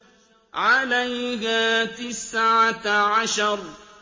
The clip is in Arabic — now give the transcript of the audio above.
عَلَيْهَا تِسْعَةَ عَشَرَ